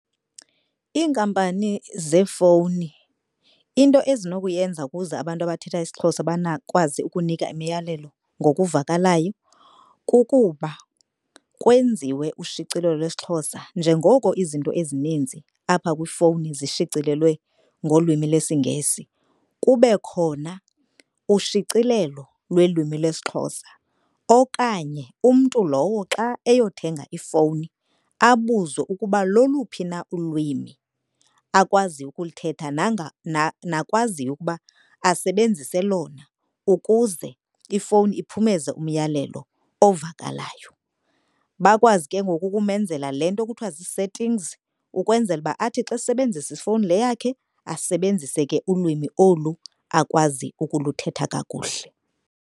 Iinkampani zeefowuni into ezinokuyenza ukuze abantu abathetha isiXhosa bakwazi ukunika imiyalelo ngokuvakalayo kukuba kwenziwe ushicilelo lwesiXhosa njengoko izinto ezininzi apha kwifowuni zishicilelwe ngolwimi lwesiNgesi. Kube khona ushicilelo lwelwimi lwesiXhosa okanye umntu lowo xa eyothenga ifowuni abuzwe ukuba loluphi na ulwimi akwaziyo ukulithetha nakwaziyo ukuba asebenzise lona ukuze ifowuni iphumeze umyalelo ovakalayo. Bakwazi ke ngoku ukumenzela le nto kuthiwa zii-settings ukwenzela uba athi xa esebenzisa ifowuni le yakhe asebenzise ke ulwimi olu akwazi ukuluthetha kakuhle.